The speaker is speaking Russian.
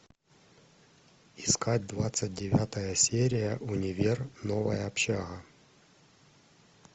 искать двадцать девятая серия универ новая общага